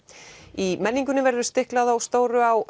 í menningunni verður stiklað á stóru á